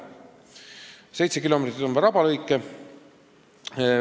Kokku 7 kilomeetrit on rabalõike.